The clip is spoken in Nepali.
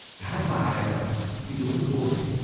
घाटमा आएर ती दुवै ओर्लिए।